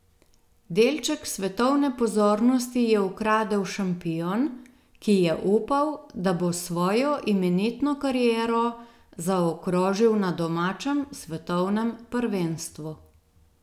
Delček svetovne pozornosti je ukradel šampion, ki je upal, da bo svojo imenitno kariero zaokrožil na domačem svetovnem prvenstvu.